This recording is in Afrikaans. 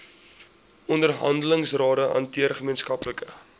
onderhandelingsrade hanteer gemeenskaplike